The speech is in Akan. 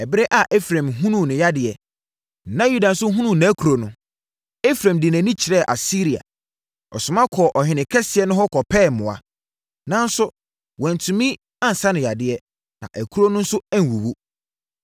“Ɛberɛ a Efraim hunuu ne yadeɛ, na Yuda nso hunuu nʼakuro no, Efraim de nʼani kyerɛɛ Asiria. Ɔsoma kɔɔ ɔhene kɛseɛ no hɔ kɔpɛɛ mmoa. Nanso wantumi ansa no yadeɛ, na akuro no nso anwuwu.